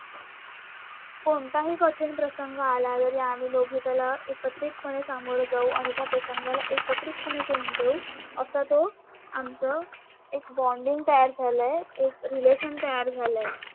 कोणताही कठीण प्रसंग आला तर आम्ही दोघी त्याला एकत्रितपणे सामोरे जाऊ आणि त्या प्रसंगाला एकत्रितपणे तोंड देऊ असा तो आमचं एक बोर्डिंग तयार झालंय रिलेशन तयार झालंय